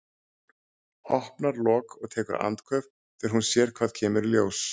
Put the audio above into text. Opnar lok og tekur andköf þegar hún sér hvað kemur í ljós.